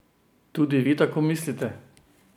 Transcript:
Tudi vi tako mislite?